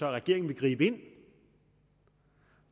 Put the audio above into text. at regeringen vil gribe ind